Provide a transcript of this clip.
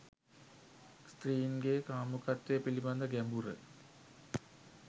ස්ත්‍රීන්ගේ කාමුකත්වය පිළිබඳ ගැඹුර